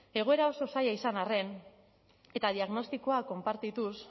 egoera oso zaila izan arren eta diagnostikoa konpartituz